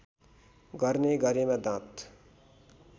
गर्ने गरेमा दाँत